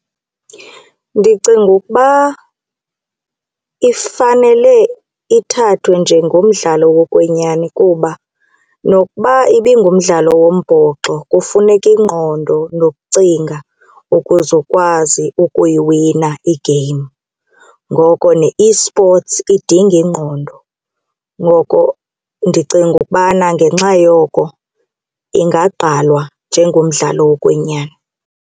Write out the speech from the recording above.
Ndicinga ukuba ifanele ithathwe njengomdlalo wokwenyani kuba nokuba ibingumdlalo wombhoxo kufuneka ingqondo nokucinga ukuze ukwazi ukuyiwina i-game, ngoko ne-esports idinga ingqondo. Ngoko ndicinga ukubana ngenxa yoko ingagqalwa njengomdlalo wokwenyani.